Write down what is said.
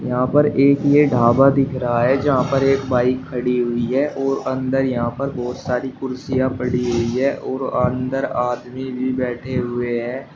यहां पर एक ये ढाबा दिख रहा है जहां पर एक बाइक खड़ी हुई है और अंदर यहां पर बहोत सारी कुर्सियां पड़ी हुई है और अंदर आदमी भी बैठे हुए हैं।